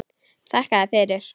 Þakka þér fyrir.